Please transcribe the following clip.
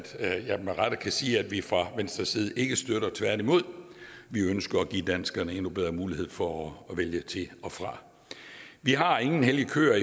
jeg med rette kan sige at vi fra venstres side ikke støtter det tværtimod ønsker vi at give danskerne endnu bedre mulighed for at vælge til og fra vi har ingen hellige køer